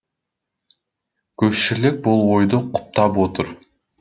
көпшілік бұл ойды құптап отыр